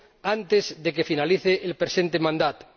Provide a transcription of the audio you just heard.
antes de que finalice su presente mandato.